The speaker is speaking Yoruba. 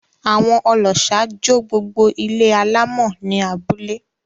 Àwón ọlọ́ṣà jó gbogbo ilé alámọ̀ ní abúlé.